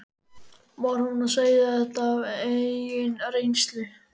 Var hún að segja þetta af eigin reynslu?